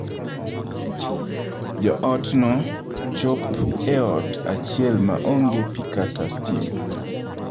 Jo otno chopo e ot achiel ma onge pi kata stima.